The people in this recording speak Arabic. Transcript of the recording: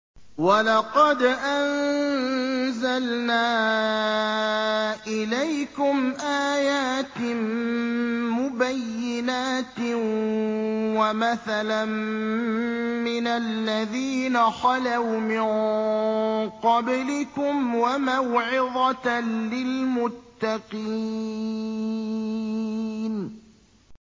وَلَقَدْ أَنزَلْنَا إِلَيْكُمْ آيَاتٍ مُّبَيِّنَاتٍ وَمَثَلًا مِّنَ الَّذِينَ خَلَوْا مِن قَبْلِكُمْ وَمَوْعِظَةً لِّلْمُتَّقِينَ